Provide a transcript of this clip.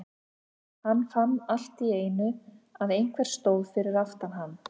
Hann fann allt í einu að einhver stóð fyrir aftan hann.